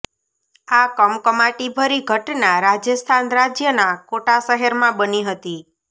આ કમકમાટી ભરી ઘટના રાજસ્થાન રાજ્યના કોટા શહેરમાં બની હતી